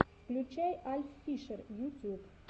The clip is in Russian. включай альффишер ютюб